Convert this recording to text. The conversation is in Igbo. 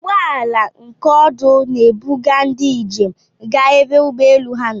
Ụgbọala nke ọdụ n'ebuga ndị ijem ga ebe ụgbọelu ha nọ.